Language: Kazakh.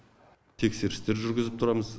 тексерістер жүргізіп тұрамыз